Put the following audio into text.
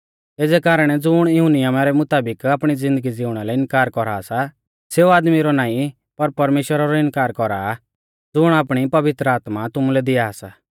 एज़ै कारणै ज़ुण इऊं नियमा रै मुताबिक आपणी ज़िन्दगी ज़िउणा लै इनकार कौरा सा सेऊ आदमी रौ नाईं पर परमेश्‍वरा रौ इनकार कौरा आ ज़ुण आपणी पवित्र आत्मा तुमुलै दिया सा